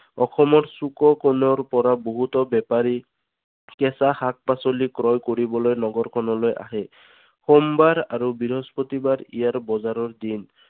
অসমৰ চুক কোণৰ পৰাও বহুত বেপাৰী কেঁচা শাক পাচলি ক্ৰয় কৰিবলৈ নগৰখনলৈ আহে। সোমবাৰ আৰু বৃহস্পতি বাৰ ইয়াৰ বজাৰৰ দিন।